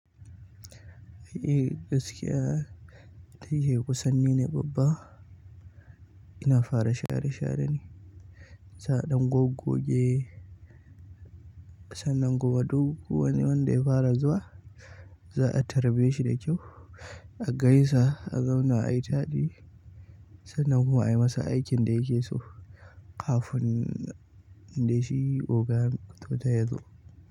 Eh gaskiya, tunda shike ni ne kusan ni ne babba, ina fara share-share ne. Sai a ɗan goggoge sannan kuma duk wani wanda ya fara zuwa, za a karɓe shi da kyau, a gaisa, a zauna a yi taɗi sannan kuma a yi masa aikin da yake so kafin dai shi ogan to dai yazo.